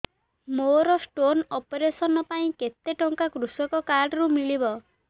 ମୋର stone operation ପାଇଁ କେତେ ଟଙ୍କା କୃଷକ କାର୍ଡ ରୁ ମିଳିବ